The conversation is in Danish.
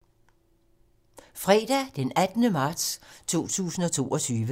Fredag d. 18. marts 2022